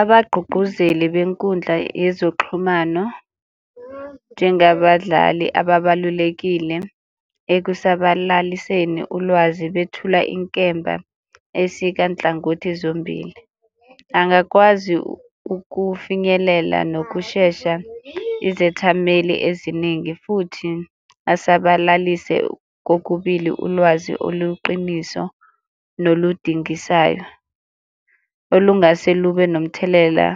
Abagqugquzeli benkundla yezoxhumano njengabadlali ababalulekile ekusabalaliseni ulwazi bethula inkemba esika nhlangothi zombili. Angakwazi ukufinyelela nokushesha izethameli eziningi futhi asabalalise kokubili ulwazi oluqiniso noludingisayo olungase lube nomthelela